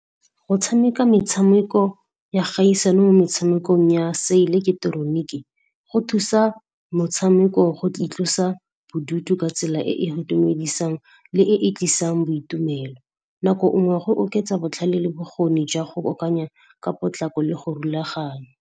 Go tshameka metshameko ya kgaisano mo metshamekong ya se ileketeroniki, go thusa motshameko go itlosa bodutu ka tsela e e itumedisang le e e tlisang boitumelo. Nako nngwe go oketsa botlhale le bokgoni jwa go akanya ka potlako le go rulaganya.